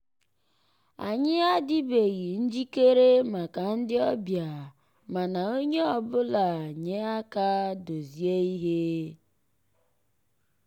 ànyị́ àdị́beghị́ njìkéré màkà ndị́ ọ̀bịá mànà ónyé ọ́ bụ́là nyéré àká dòzié íhé.